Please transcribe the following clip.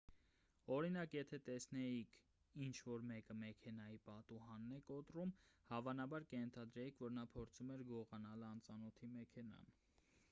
օրինակ եթե տեսնեիք ինչ-որ մեկը մեքենայի պատուհանն է կոտրում հավանաբար կենթադրեիք որ նա փորձում էր գողանալ անծանոթի մեքենան